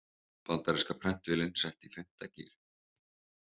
Bandaríska prentvélin sett í fimmta gír